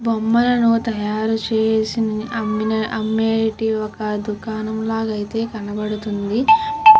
బొమ్మలను తాయారు చేసి అమెటివి ఒక దుకాణం అయితే కనిపిస్తుంది.